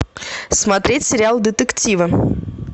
смотреть сериал детективы